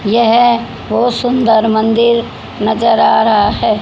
यह बहोत सुंदर मंदिर नजर आ रहा है।